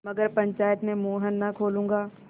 मगर पंचायत में मुँह न खोलूँगा